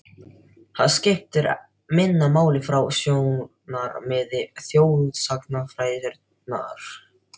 Það skiptir minna máli frá sjónarmiði þjóðsagnafræðinnar.